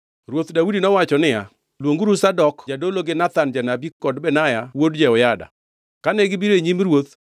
Ruoth Daudi nowacho niya, “Luonguru Zadok jadolo gi Nathan janabi kod Benaya wuod Jehoyada.” Kane gibiro e nyim ruoth,